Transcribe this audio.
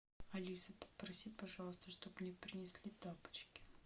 алиса попроси пожалуйста чтобы мне принесли тапочки